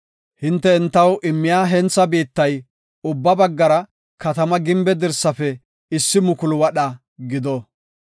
Hinte entaw immiya hentha biittay ubba baggara katamaa gimbe dirsaafe issi mukulu wadha gido.